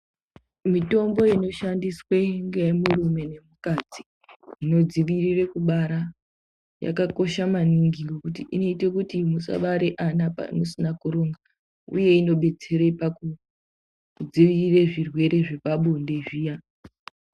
Mitombo inoshandiswe ngemurume nemukadzi inodzivirire kubara, yakakosha maningi ngekuti inoite kuti musabare ana musina kuronga uye inodetsera pakudzivirira zvirwere zvepabonde zviya.